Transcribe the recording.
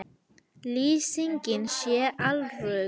Lýsingin sé alröng